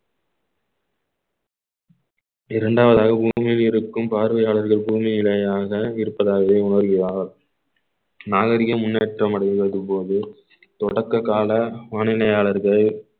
இரண்டாவதாக உன் மீது இருக்கும் பார்வையாளர்கள் பூமியிலேயாக இருப்பதாகவே உணர்கிறார் நாகரீகம் முன்னேற்றம் அடைவதற்கு போது தொடக்ககால வானிலையாளர்கள்